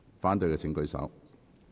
反對的請舉手。